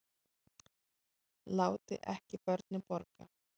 Láti ekki börnin borga